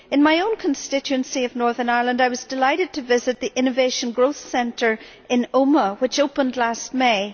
In my own constituency of Northern Ireland, I was delighted to visit the Innovation Growth Centre in Omagh, which opened last May.